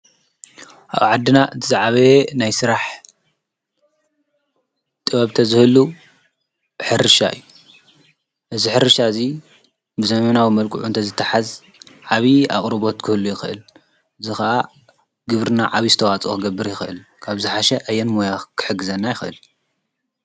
ኣብ ዓድና እቲ ዝዓበየ ናይ ሥራሕ ጥወብተ ዘህሉ ሕርሻ እዩ እዝ ኅርሻ እዙይ ብዘሜናዊ መልቁዑ እንተ ዝተሓዝ ዓቢዪ ኣቕሩቦት ክህሉ ይኽእል ዝኸዓ ግብርና ዓብ ስተዋፅ ኽገብር ይኽእል ካብ ዝሓሽ ኣየን ሞያኽ ክሕግዘና ይኽእል።